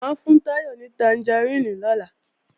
Mà á fún Táyọ̀ ní tangaríìnì lọ́la